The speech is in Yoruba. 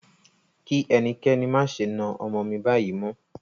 Kí ẹnikẹ́ni má ṣe na ọmọ mí báyìí mọ́!